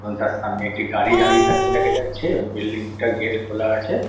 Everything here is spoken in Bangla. এবং তার সামনে একটি গাড়ি দাঁড়িয়ে থাকতে দেখা যাচ্ছে এবং বিল্ডিং -টার গেট খোলা আছে ।